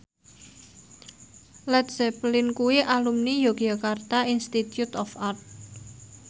Led Zeppelin kuwi alumni Yogyakarta Institute of Art